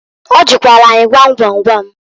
Ọ jụkwalụ anyị gwam gwam gwam.